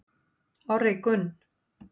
Orri Gunn